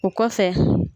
O kɔfɛ